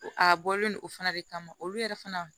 A bɔlen no o fana de kama olu yɛrɛ fana